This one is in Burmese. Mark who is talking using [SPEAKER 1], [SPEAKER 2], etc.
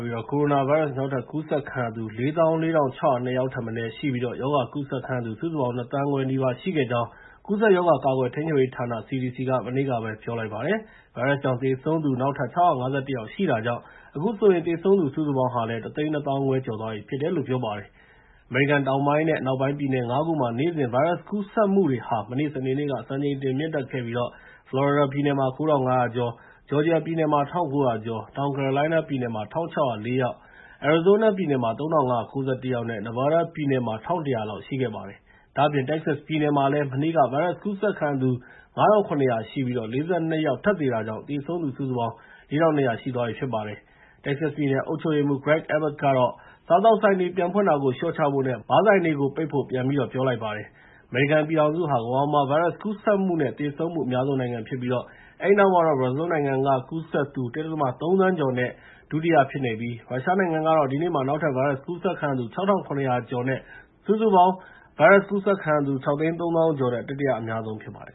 [SPEAKER 1] ပြီး ကိုရိုနာဗိုင်းရပ်စ် နောက်ထပ်ကူးစက်ခံရသူ ၄၄,၆၀၂ ယောက်ထက်မနည်းရှိပြီး ရောဂါကူးစက်သူ စုစုပေါင်း ၂ သန်းခွဲနီးပါး ရှိခဲ့ကြောင်း ကူးစက်ရောဂါ ထိန်းချုပ်ကာကွယ်ရေးဌာန (CDC) က မနေ့တုန်းကပဲ ပြောဆိုလိုက်ပါတယ်။ ဗိုင်းရပ်စ်ကြောင့် သေဆုံးသူ နောက်ထပ် ၆၅၁ ယောက် ထပ်ရှိတာကြောင့် အခုဆိုရင် သေဆုံးသူစုစုပေါင်း ၁ သိန်း ၂ သောင်းခွဲ ကျော်သွားပြီလို့လည်း ပြောပါတယ်။ အမေရိကန် တောင်ပိုင်းနဲ့ အနောက်ပိုင်းက ပြည်နယ် ၅ ခုမှာ နေ့စဉ် ဗိုင်းရပ်စ်ကူးစက်မှုတွေဟာ မနေ့စနေနေ့က စံချိန်တင် မြင့်တက်ခဲ့ပြီး ဖလော်ရီဒါပြည်နယ်မှာ ၉,၅၀၀ ကျော်၊ ဂျော်ဂျီယာပြည်နယ်မှာ ၁,၉၀၀ ကျော်၊ တောင်ကယ်ရိုလိုင်းနားမှာ ၁,၆၀၄ ယောက်၊ အရီဇိုးနားပြည်နယ်မှာ ၃,၅၉၁ ယောက်နဲ့ နီဗားဒါးပြည်နယ်မှာ ၁,၁၀၀ လောက် ရှိခဲ့ပါတယ်။ ဒါ့အပြင် တက္ကဆက်စ်ပြည်နယ်မှာလည်း မနေ့က ဗိုင်းရပ်စ်ကူးစက်ခံရသူ ၅,၇၀၀ ရှိပြီး ၄၂ ယောက် ထပ်သေတာကြောင့် သေဆုံးသူ စုစုပေါင်း ၄,၂၀၀ ရှိသွားပြီဖြစ်ပါတယ်။ တက္ကဆက်စ်ပြည်နယ် အုပ်ချုပ်ရေးမှူး Gregg Abott ကတော့ စားသောက်ဆိုင်တွေ ပြန်ဖွင့်တာကို လျှော့ချဖို့နဲ့ ဘားဆိုင်တွေကို ပိတ်ဖို့ ပြန်ပြီး ပြောလိုက်ပါတယ်။ အမေရိကန်ပြည်ထောင်စုဟာ ကမ္ဘာပေါ်မှာ ဗိုင်းရပ်စ်ကူးစက်မှုနဲ့ သေဆုံးမှု အများဆုံးနိုင်ငံဖြစ်ပြီး အဲဒီနောက်မှာတော့ ဘရာဇီးနိုင်ငံက ကူးစက်သူ ၁.၃ သန်းကျော်နဲ့ ဒုတိယနဲ့ ရုရှားနိုင်ငံမှာတော့ ဒီနေ့မှာ နောက်ထပ် ဗိုင်းရပ်စ်ကူးစက်ခံရသူ ၆,၇၀၀ ကျော်နဲ့ စုစုပေါင်း ၆၃၀,၀၀၀ ကျော်နဲ့ တတိယအများဆုံး ဖြစ်ပါတယ်